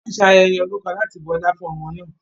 Wọ́n ṣe ayẹyẹ orúkọ láti bu ọlá fún ọmọ náà.